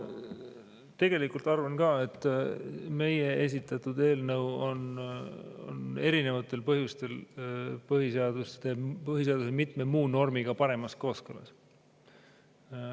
Ma tegelikult arvan ka, et meie esitatud eelnõu on erinevatel põhjustel põhiseaduse mitme muu normiga paremas kooskõlas.